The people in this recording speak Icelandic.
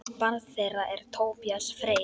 Barn þeirra er Tobías Freyr.